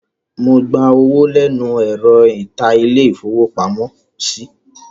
Mo gba owó lẹ́nu ẹ̀rọ níta ilé-ìfowópamọ́sí.